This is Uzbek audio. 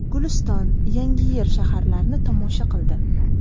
Guliston, Yangiyer shaharlarini tomosha qildi.